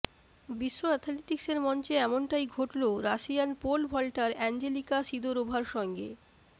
বিশ্ব অ্যাথলেটিক্সের মঞ্চে এমনটাই ঘটল রাশিয়ান পোল ভল্টার অ্যাঞ্জেলিকা সিদোরোভার সঙ্গে